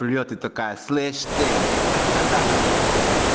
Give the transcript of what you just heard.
ты такая слышь ты